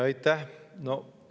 Aitäh!